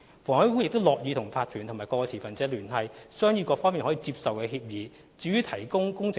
房委會亦樂意與法團及各持份者聯繫，商議各方面均可接受的方案。